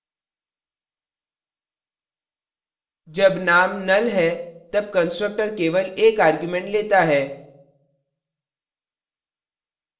जब name null है तब constructor केवल एक argument लेता है